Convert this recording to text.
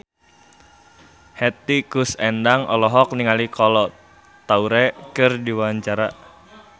Hetty Koes Endang olohok ningali Kolo Taure keur diwawancara